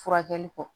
Furakɛli kɔ